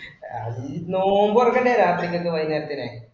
ഉം അഹ് നോമ്പ് തുറക്കേണ്ടെ രാത്രിക്കൊക്കെ വൈകുന്നേരത്തിനു